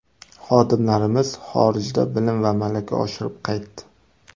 Xodimlarimiz xorijda bilim va malaka oshirib qaytdi”.